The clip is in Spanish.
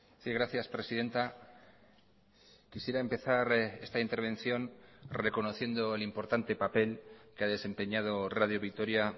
sí gracias presidenta quisiera empezar esta intervención reconociendo el importante papel que ha desempeñado radio vitoria